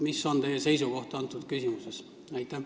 Mis on teie seisukoht selles küsimuses?